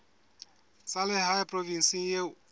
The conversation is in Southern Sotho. tsa lehae provinseng eo o